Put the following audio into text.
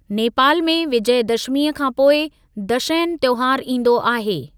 नेपाल में, विजयदशमीअ खां पोइ दशैन त्‍योहारु ईंदो आहे।